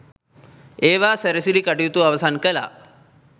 ඒවා සැරසිලි කටයුතු අවසන් කළා.